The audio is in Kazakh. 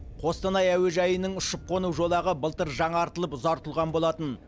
қостанай әуежайының ұшып қону жолағы былтыр жаңартылып ұзартылған болатын